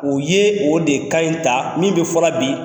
O ye o de ye ka ɲi ta min bɛ fɔra bi.